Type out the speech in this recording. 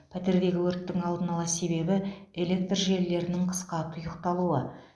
пәтердегі өрттің алдын ала себебі электр желілерінің қысқа тұйықталуы